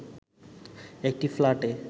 একটি ফ্ল্যাটে